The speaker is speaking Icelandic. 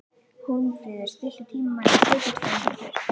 Hólmfríður, stilltu tímamælinn á sjötíu og tvær mínútur.